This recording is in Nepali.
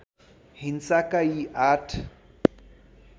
हिंसाका यी आठ